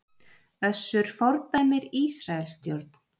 Össur fordæmir Ísraelsstjórn